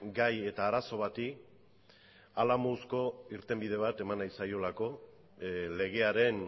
gai eta arazo bati hala moduzko irtenbide bat eman nahi zaio legearen